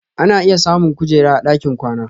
Ana iya samun ƙujera a dakin kwana.